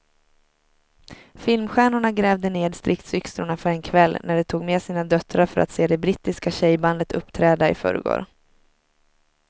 Filmstjärnorna grävde ned stridsyxorna för en kväll när de tog med sina döttrar för att se det brittiska tjejbandet uppträda i förrgår.